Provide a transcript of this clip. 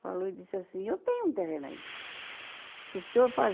Falou e disse assim, eu tenho um terreno aí. Se o senhor